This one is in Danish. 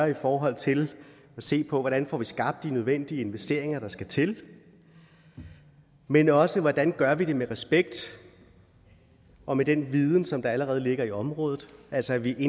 i forhold til at se på hvordan vi får skabt de nødvendige investeringer der skal til men også hvordan vi gør det med respekt og med den viden som allerede ligger i området altså at vi i